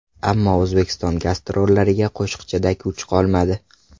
Ammo O‘zbekiston gastrollariga qo‘shiqchida kuch qolmadi.